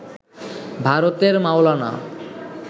ভারতের মাওলানা